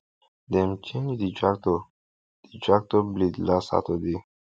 dem change the tractor the tractor blade last saturday